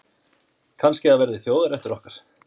Kannski það verði þjóðarréttur okkar.